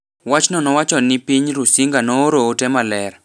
Wachno nowacho ni piny Rusinga nooro ote maler